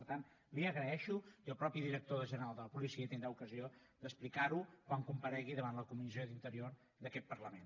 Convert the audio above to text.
per tant li ho agraeixo i el mateix director general de la policia tindrà ocasió d’explicarho quan comparegui davant la comissió d’interior d’aquest parlament